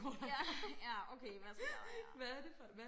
ja ja okay hvad sker der her